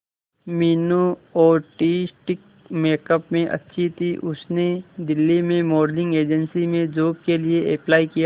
Meenu artistic makeup में अच्छी थी उसने दिल्ली में मॉडलिंग एजेंसी में जॉब के लिए अप्लाई किया